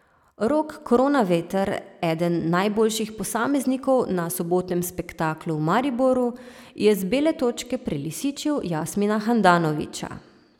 Rok Kronaveter, eden najboljših posameznikov na sobotnem spektaklu v Mariboru, je z bele točke prelisičil Jasmina Handanovića.